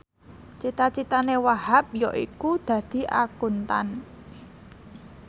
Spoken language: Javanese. cita citane Wahhab yaiku dadi Akuntan